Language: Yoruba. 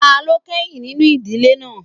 Ta ló kẹ́yìn nínú ìdíje náà?